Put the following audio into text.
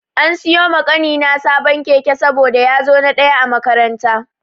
An siyo ma ƙanina sabon keke saboda ya zo na ɗaya a makaranta.